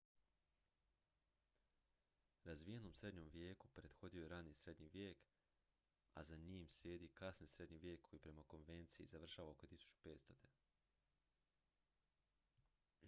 razvijenom srednjem vijeku prethodio je rani srednji vijek a za njim slijedi kasni srednji vijek koji prema konvenciji završava oko 1500